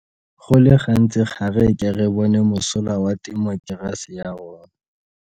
Go le gantsi ga re ke re bona mosola wa temokerasi ya rona.